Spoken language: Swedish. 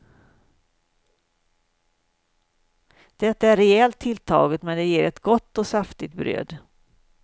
Det är rejält tilltaget, men det ger ett gott och saftigt bröd.